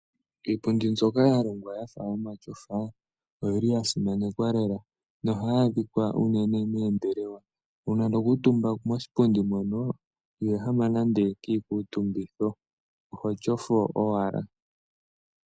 Iipundi mbyoka ya longwa yafa omatyofa ohayi adhika unene moombelewa. Uuna tokuutumbako iho ehama kiikutumbitho oho tyofo owala.